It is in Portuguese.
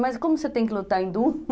Mas como você tem que lutar hindu?